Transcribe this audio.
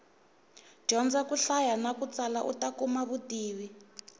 dyondza ku hlaya na ku tsala uta kuma vutivi